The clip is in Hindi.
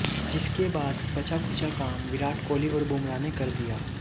जिसके बाद बचाखुचा काम विराट कोहली और बुमराह ने कर दिया